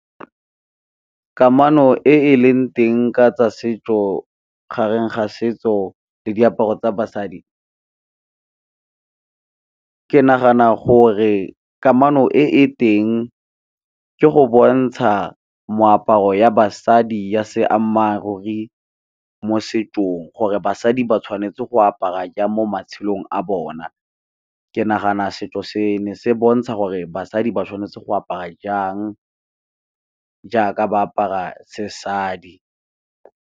Kamano e e leng teng ka tsa setso gareng ga setso le diaparo tsa basadi, ke nagana gore kamano e e teng ke go bontsha moaparo ya basadi ya Se ammaruri mo setsong gore basadi ba tshwanetse go apara jang mo matshelong a bona. Ke nagana setso se ne se bontsha gore basadi ba tshwanetse go apara jang, jaaka ba apara se sadi.